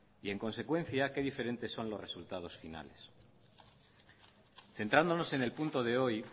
y en consecuencia qué diferentes son los resultados finales centrándonos en el punto de hoy